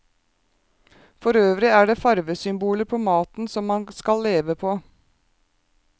Forøvrig er det farvesymboler på maten som man skal leve på.